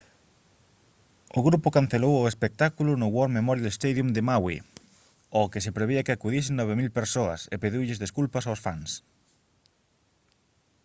o grupo cancelou o espectáculo no war memorial stadium de maui ao que se prevía que acudisen 9000 persoas e pediulles desculpas aos fans